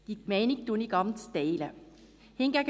Diese Meinung teile ich ganz.